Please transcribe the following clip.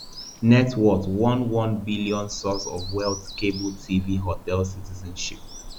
net worth one one billion source of wealth cable tv hotels citizenship